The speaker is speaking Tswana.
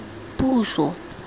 puso